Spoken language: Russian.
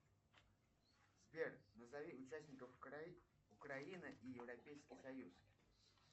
сбер назови участников украины и европейский союз